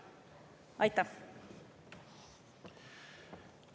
Aitäh!